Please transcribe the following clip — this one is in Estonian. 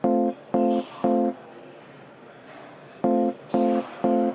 Palju õnne, jõudu tööle!